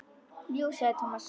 Jú sagði Thomas.